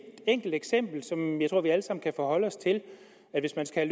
enkelt eksempel som jeg tror vi alle sammen kan forholde os til hvis man skal